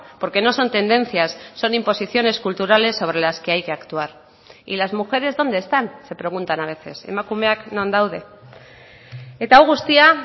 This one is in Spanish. porque no son tendencias son imposiciones culturales sobre las que hay que actuar y las mujeres dónde están se preguntan a veces emakumeak non daude eta hau guztia